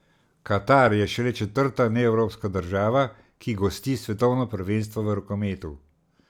Katar je šele četrta neevropska država, ki gosti svetovno prvenstvo v rokometu.